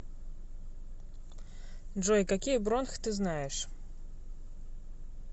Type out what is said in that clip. джой какие бронх ты знаешь